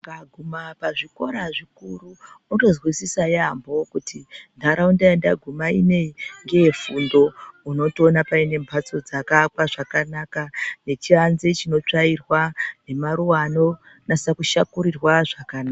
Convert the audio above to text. Ukaguma pazvikora zvikuru wotozwisisa yampho kuti ntaraunda yandaguma ineyi ngeyefundo. Unotoona paine mbatso dzakaakwa zvakanaka nechianze chinotsvairwa nemaruwa anonasa kushakurirwa zvakanaka.